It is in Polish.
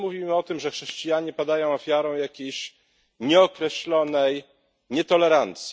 Mówimy o tym, że chrześcijanie padają ofiarą jakiejś nieokreślonej nietolerancji.